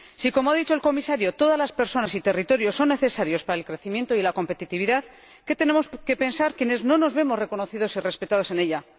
Si, como ha dicho el Comisario, todas las personas y territorios son necesarios para el crecimiento y la competitividad, ¿qué tenemos que pensar quienes no nos vemos reconocidos y respetados en ella?